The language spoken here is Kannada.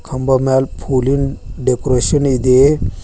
ಕಂಬ ಮ್ಯಾಲ್ ಪುಲಿನ್ ಡೆಕೋರೇಷನ್ ಇದೆ.